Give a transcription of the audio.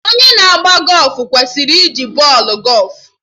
Onye na agba gọfụ kwesịrị iji bọọlụ gọfụ